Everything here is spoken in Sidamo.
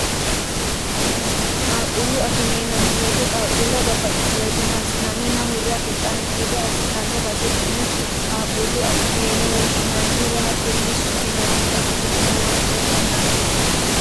qaalquullu akime yinanniweete qaaqquullewa babbaxxitinowoyete massinanni na hurre afixxanno gede assitanno basetenne qaaqqullu akime yine woshshinanni woy hatto yine su'minannita ikkitinota huwanteemmo yaate